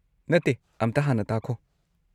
ꯅꯠꯇꯦ, ꯑꯝꯇ ꯍꯥꯟꯅ ꯇꯥꯈꯣ꯫